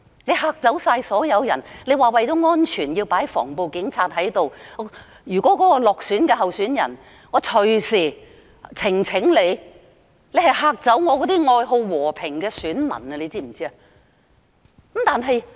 你嚇走所有人——你聲稱為了安全而派駐防暴警察到各投票站——落選候選人隨時提出選舉呈請，指你嚇走了愛好和平的選民，你知道嗎？